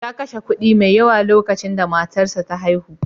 Ya kashe kuɗi mai yawa lokacin da matarsa ta haihu.